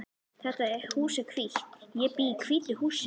Þetta hús er hvítt. Ég bý í hvítu húsi.